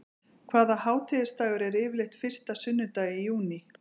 Hvaða hátíðisdagur er yfirleitt fyrsta sunnudag í júní?